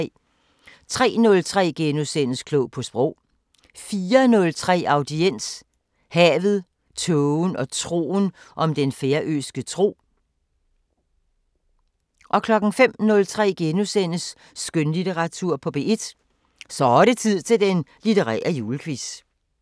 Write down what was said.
03:03: Klog på Sprog * 04:03: Audiens: Havet, tågen og troen – om den færøske tro 05:03: Skønlitteratur på P1: Så' det tid til den litterære julequiz *